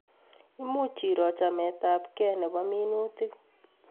Much iro chamet ab kei nebo minutik